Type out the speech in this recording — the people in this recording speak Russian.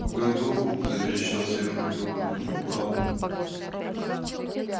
в году заверещал сверху лёва но не упал